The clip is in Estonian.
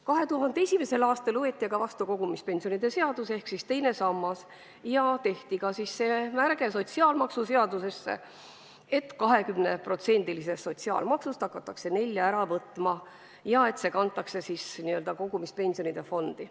2001. aastal võeti aga vastu kogumispensionide seadus ehk loodi teine sammas ja sotsiaalmaksuseadusesse tehti märge, et 20%-lisest sotsiaalmaksu osast võetakse edaspidi 4% ära ja kantakse kogumispensionide fondi.